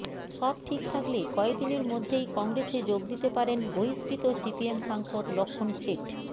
সব ঠিক থাকলে কয়েক দিনের মধ্যেই কংগ্রেসে যোগ দিতে পারেন বহিষ্কৃত সিপিএম সাংসদ লক্ষ্ণণ শেঠ